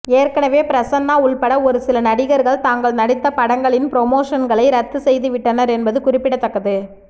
ஏற்கனவே பிரசன்னா உள்பட ஒருசில நடிகர்கள் தாங்கள் நடித்த படங்களின் புரமோஷன்களை ரத்து செய்துவிட்டனர் என்பது குறிப்பிடத்தக்கது